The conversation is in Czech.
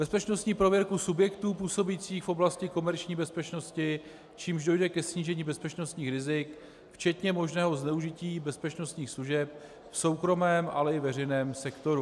Bezpečnostní prověrku subjektů působících v oblasti komerční bezpečnosti, čímž dojde ke snížení bezpečnostních rizik včetně možného zneužití bezpečnostních služeb v soukromém, ale i veřejném sektoru.